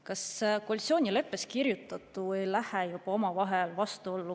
Kas koalitsioonileppes kirjutatu ei lähe juba omavahel vastuollu?